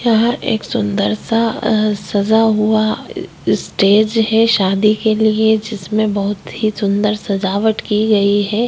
यहाँ एक सुंदर सा अ सजा हुआ स्टेज है शादी के लिए जिसमें बहुत ही सुंदर सजावट की गई है।